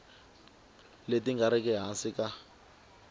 leti nga riki ehansi ka